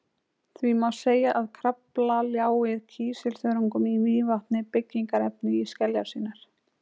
Því má segja að Krafla ljái kísilþörungum í Mývatni byggingarefni í skeljar sínar.